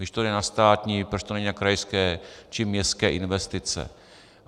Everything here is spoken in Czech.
Když to jde na státní, proč to není na krajské či městské investice?